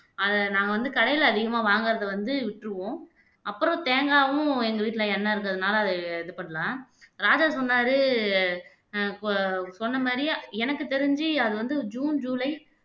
அதை நாங்க வந்து கடையில அதிகமா வாங்குறதை வந்து விட்டுருவோம் அப்புறம் தேங்காவும் எங்க வீட்டுல எண்ணெய் இருக்குறதுனால அதை இது பண்ணல ராஜா சொன்னாரு ஆஹ் சொன்ன மாரியே எனக்கு தெரிஞ்சு அது வந்து ஜூன் ஜூலை